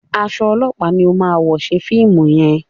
Aṣọ ọlọpa ní o má wọ ṣe fíìmù yén.